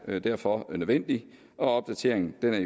er derfor nødvendig opdateringen er